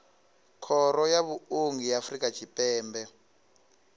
khoro ya vhuongi ya afrika tshipembe